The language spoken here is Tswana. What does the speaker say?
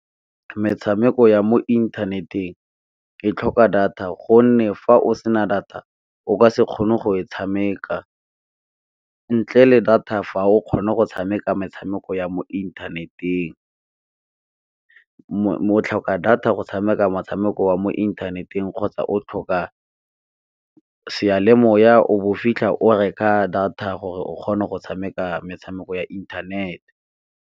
Metshameko ya mo inthaneteng e tlhoka data gonne fa o sena data o ka se kgone go e tshameka, ntle le data fa o kgone go tshameka metshameko ya mo inthaneteng. O tlhoka data go tshameka motshameko wa mo inthaneteng kgotsa o tlhoka seyalemoya o bo fitlha o reka data gore o kgone go tshameka metshameko ya inthanete.